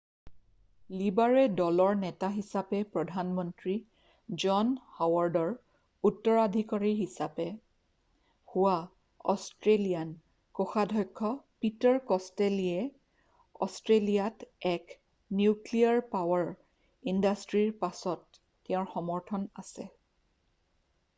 লিবাৰে দলৰ নেতা হিচাপে প্ৰধানমন্ত্ৰী জন হৱাৰ্ডৰ উত্তৰাধিকাৰী হোৱা অষ্ট্ৰেলীয়ান কোষাধক্ষ্য পীটাৰ কষ্টেল'য়ে অষ্ট্ৰেলীয়াত এক নিউক্লীয়াৰ পাৱাৰ ইণ্ডাষ্ট্ৰীৰ পাছত তেওঁৰ সমৰ্থন আছে৷